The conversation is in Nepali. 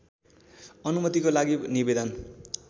अनुमतिको लागि निवेदन